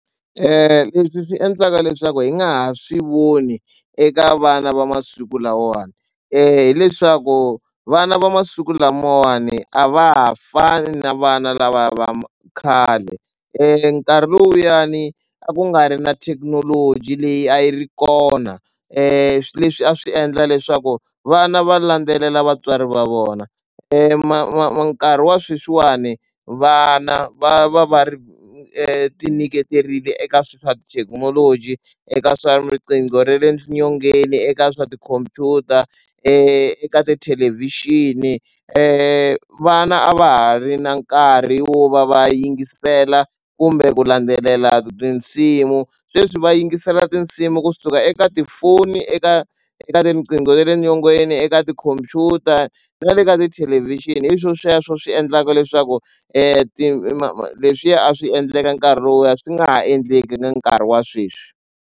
Leswi swi endlaka leswaku hi nga ha swi voni eka vana va masiku lawawani hileswaku vana va masiku lamawani a va ha fani na vana lavaya va khale. Nkarhi luyani a ku nga ri na thekinoloji leyi a yi ri kona leswi a swi endla leswaku vana va landzelela vatswari va vona ma ma nkarhi wa sweswiwani vana va va va ri tinyiketerile eka swa thekinoloji, eka swa riqingho ra le nyongeni, eka swa tikhompyuta, eka tithelevhixini. Vana a va ha ri na nkarhi wo va va yingisela kumbe ku landzelela tinsimu sweswi va yingisela tinsimu kusuka eka tifoni eka eka tinqingho ta le nyongeni, eka tikhompyuta na le ka tithelevhixini hi swo sweswo swi endlaka leswaku ti leswiya a swi endleka nkarhi lowuya swi nga ha endleki na nkarhi wa sweswi.